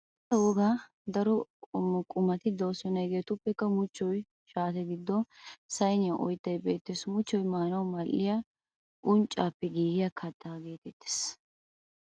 Wolaytta wogaa daro qommo qumati de'oosona hegeetuppe muchchoy shaate giddoninne sayiniya oyttay beettes. Muchchoy maanawu mal'iya unccappe giigiya kattaa geetettes.